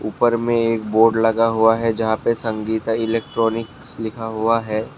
ऊपर में एक बोर्ड लगा हुआ है। जहां पे संगीता इलेक्ट्रॉनिक्स लिखा हुआ है।